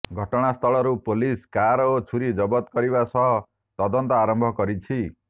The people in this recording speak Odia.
ଘଟଣାସ୍ଥଳରୁ ପୋଲିସ କାର ଓ ଛୁରି ଜବତ କରିବା ସହ ତଦନ୍ତ ଆରମ୍ଭ କରିଛି